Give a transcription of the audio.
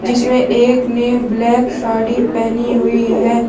जिसमें एक ने ब्लैक साड़ी पहनी हुई है।